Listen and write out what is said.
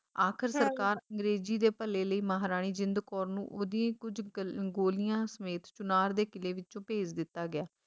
ਆਖਿਰ ਸਰਕਾਰ ਅੰਗਰੇਜ਼ੀ ਦੇ ਭਲੇ ਲਈ ਮਹਾਰਾਣੀ ਜਿੰਦ ਕੌਰ ਨੂੰ ਓਹਦੀਆਂ ਕੁਝ ਗਲ ਗੋਲੀਆਂ ਸਮੇਤ ਚੁਨਾਰ ਦੇ ਕਿਲ੍ਹੇ ਵਿੱਚੋਂ ਭੇਜ ਦਿੱਤਾ ਗਿਆ